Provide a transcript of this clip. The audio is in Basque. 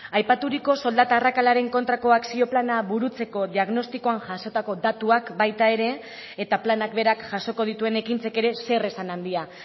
aipaturiko soldata arrakalaren kontrako akzio plana burutzeko diagnostikoan jasotako datuak baita ere eta planak berak jasoko dituen ekintzek ere zeresan handia